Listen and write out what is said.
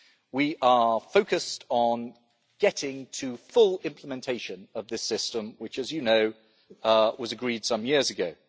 We are focused on getting to full implementation of this system, which, as you know, was agreed some years ago.